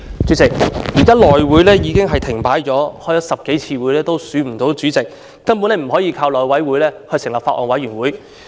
主席，現時內務委員會已經停擺了，開了10多次會議也未能選出主席，根本不能夠由內務委員會成立法案委員會。